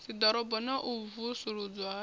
dziḓorobo na u vusuludzwa ha